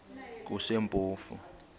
kusempofu